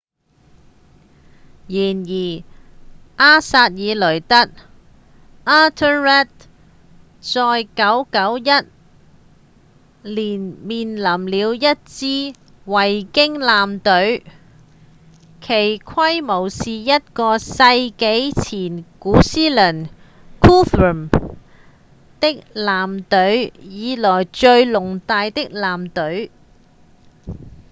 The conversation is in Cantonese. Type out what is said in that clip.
然而埃塞爾雷德 ethelred 在991年面臨了一支維京艦隊其規模是一個世紀前古思倫 guthrum 的艦隊以來最龐大的艦隊